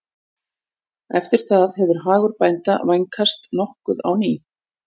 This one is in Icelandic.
eftir það hefur hagur bænda vænkast nokkuð á ný